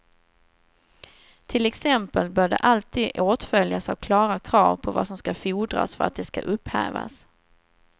Till exempel bör de alltid åtföljas av klara krav på vad som ska fordras för att de ska upphävas.